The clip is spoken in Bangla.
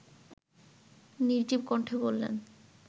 নির্জীব কণ্ঠে বললেন